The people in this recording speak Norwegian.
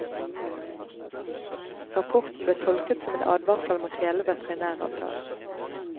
Rapporten ble tolket som en advarsel mot hele veterinæravtalen.